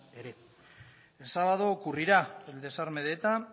ere el sábado ocurrirá el desarme de eta